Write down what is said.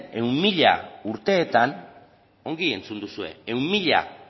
ehun mila urteetan ongi entzun duzue ehun mila